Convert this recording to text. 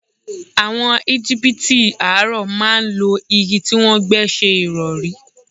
Àwọ̀n Egipiti àárọ̀ máa ń lo igi tí wọ́n gbẹ́ ṣẹ ìrọ̀rí.